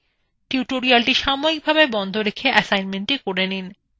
tutorialটি সাময়িকভাবে বন্ধ রেখে কাজটি করে নিন